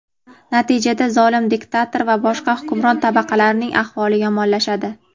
natijada zolim diktator va boshqa hukmron tabaqalarning ahvoli yomonlashadi.